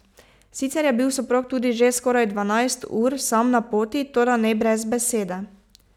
Sicer je bil soprog tudi že skoraj dvanajst ur sam na poti, toda ne brez besede.